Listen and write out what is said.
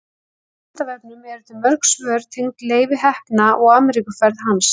Á Vísindavefnum eru til mörg svör tengd Leifi heppna og Ameríkuferð hans.